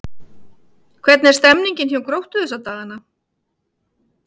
Hvernig er stemningin hjá Gróttu þessa dagana?